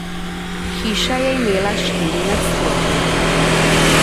Hiša je imela štiri nadstropja.